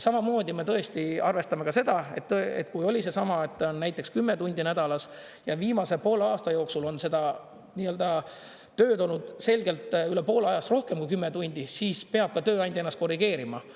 Samamoodi me tõesti arvestame ka seda, kui oli seesama, et on näiteks 10 tundi nädalas ja viimase poole aasta jooksul on seda tööd olnud selgelt üle poole ajast rohkem kui 10 tundi, siis peab tööandja ennast korrigeerima.